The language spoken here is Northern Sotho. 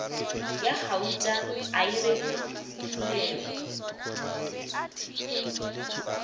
ya gauta a e rekilego